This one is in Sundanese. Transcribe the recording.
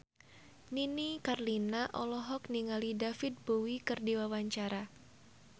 Nini Carlina olohok ningali David Bowie keur diwawancara